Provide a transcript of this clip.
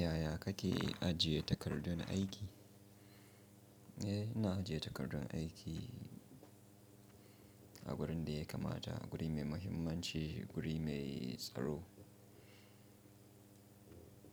Yaya kake ajiye takardun aiki? Eh, ina ajiye takardun aiki a wurin da ya kamata, wuri mai mahimmanci, wuri mai tsaro